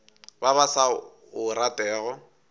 ba ba sa o ratego